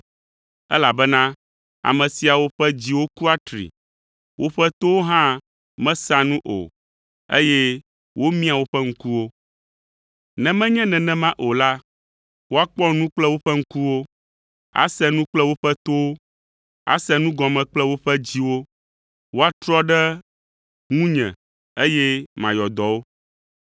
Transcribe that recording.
Elabena ame siawo ƒe dziwo ku atri; woƒe towo hã mesea nu o, eye womiã woƒe ŋkuwo. Ne menye nenema o la, woakpɔ nu kple woƒe ŋkuwo, ase nu kple woƒe towo, ase nu gɔme kple woƒe dziwo, woatrɔ ɖe ŋunye eye mayɔ dɔ wo.’